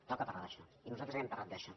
toca parlar d’això i nosaltres hem parlat d’això